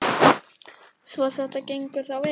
Svo þetta gengur þá vel?